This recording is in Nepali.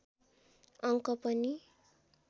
अङ्क पनि